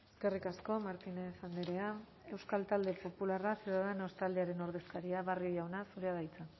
eskerrik asko martínez andrea euskal talde popularra ciudadanos taldearen ordezkaria barrio jauna zurea da hitza